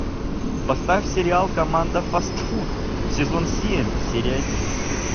поставь сериал команда фастфуд сезон семь серия один